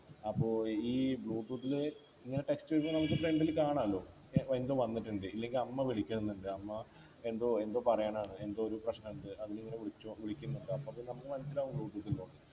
അപ്പൊ ഈ Bluetooth ഇങ്ങനെ Text message നമുക്ക് front ൽ കാണാമല്ലോ ഏർ എന്തോ വന്നിട്ടുണ്ട് ഇല്ലെങ്ങി അമ്മ വിളിക്കുന്നുണ്ട് അമ്മ എന്തോ എന്തോ പറയാനാണ് എന്തോ ഒരു പ്രശ്നം ഉണ്ട് അതിന് വിളിച്ചോ വിളിക്കുന്നുണ്ട് അപ്പൊ പിന്നെ നമുക്ക് മനസ്സിലാവുല്ലോ Bluetooth